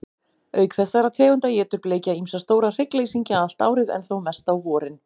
Auk þessara tegunda étur bleikja ýmsa stóra hryggleysingja allt árið, en þó mest á vorin.